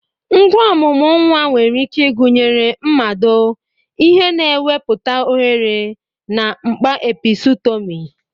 Ngwa omumu nwa nwere ike ịgụnye mmado, ihe na-ewepụta oghere, na mkpa episutomi.